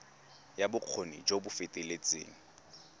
ya bokgoni jo bo feteletseng